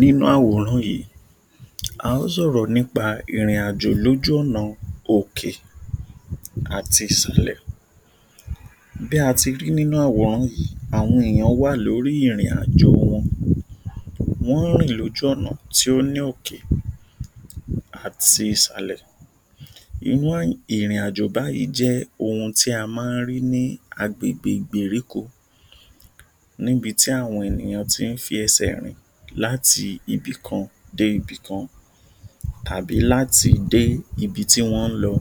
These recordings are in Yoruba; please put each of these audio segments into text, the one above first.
Nínú àwòrán yìí, a ó ṣòro nípa ìrìn-àjò lójú ọ̀nà òkè àti ìsàlẹ̀. Bí àti rí nínú àwòrán yìí, àwọn ènìyàn wà lórí ìrìn-àjò wọn. Wọ́n rìn lójú ọ̀nà tí ó ní òkè àti ìsàlẹ̀. Irú ìrìn-àjò báyìí jẹ́ ohun tí a máa ń rí ní agbègbè ìgbèríko níbi tí àwọn ènìyàn tí ń fi ẹsẹ̀ rìn láti ibi kan dé ibi kan àbí láti dé ibi tí wọ́n ń lọ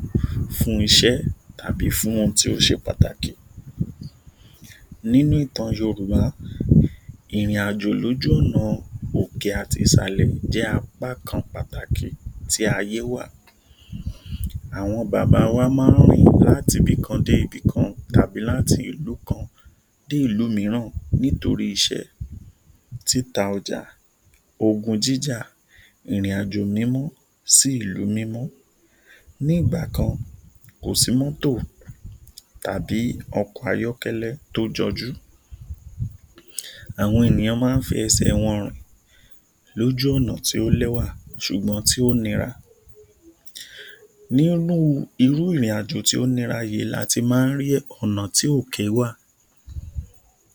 fún iṣẹ́ tàbí fún ohun tí ó ṣe pàtàkì. Nínú ìtàn Yorùbá, ìrìn-àjò lójú ọ̀nà òkè àti ìsàlẹ̀ jẹ́ apá kan pàtàkì tí ayé wà, àwọn Bàbá wa máa ń rìn labi ibìkan dé ibìkan tàbí láti ìlú kan dé ìlú mìíràn nítorí iṣẹ́, títa ọjà, ogun jíjà, ìrìn-àjò mímọ́ sí ìlú mímọ́. Nígbà kan kò sí mọ́tò tàbí ọkọ̀ àyọkẹ́lẹ́ tí ó jọjú. Awkn ènìyàn máa ń fi ẹsẹ wọn rìn lójú ọ̀nà tí ó lẹ́wà ṣùgbọ́n tí ó nira. Nínú irú ìrìn-àjò tí ó nira yìí láti máa ń rí ọ̀nà tí òkè wà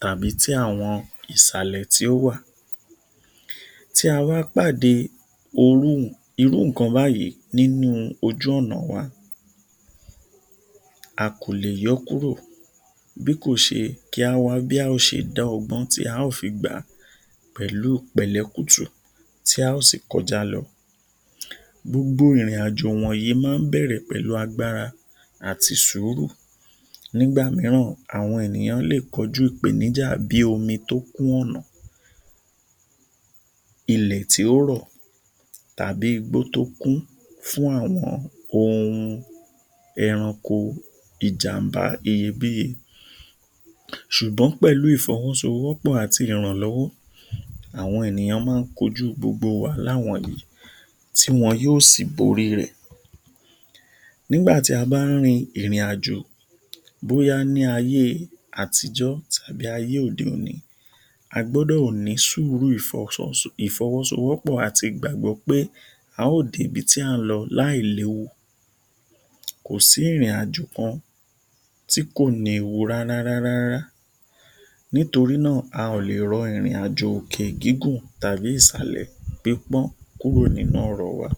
tàbí tí àwọn ìsàlẹ̀ tí ó wà. Tí a bá pàdé irú nǹkan báyìí lójú ọ̀nà wa, a kò lè yọ́ kúrò bí kò ṣe kí á wá bí a ó ṣe dá ọgbọ́n tí a ó fi gbà á pẹ̀lú pẹ̀lẹ́ kútú tí a ó sì kọjá lọ. Gbogbo ìrìn-àjò yìí máa ń bẹ̀rẹ̀ pẹ̀lú agbára àti sùúrù. Nígbà mìíràn àwọn ènìyàn lè kọjú ìpènijà bíi omi tí ó kún ọ̀nà, ilẹ̀ tí ó rọ̀ tàbí igbó tí ó kún fún àwọn ohun ẹranko ìjàmbá iyebíye bíi ṣùgbọ́n pẹ̀lú ìfọ́wọ́sowọ́pọ̀ àti ìrànlọ́wọ́ àwọn ènìyàn máa ń kọjú gbogbo wàhálà wọ̀nyìí tí wọn yóò sì borí rẹ̀. Nígbà tí a bá ń rin ìrìn-àjò bóyá ní ayé àtíjọ́ tàbí ayé òde-òní, a gbọ́dọ̀ ní sùúrù ìfọ́wọ́sowọ́pọ̀ àti ìgbàgbọ́ pé a ó dé ibi tí à ń lọ láì lo, kò sí ìrìn-àjò kan tí kò ní ewu rárá rárá nítorí náà, a ò rọ ìrìn-àjò òkè gígùn tàbí ìsàlẹ̀ pípán kúrò nínú ọ̀rọ̀ wa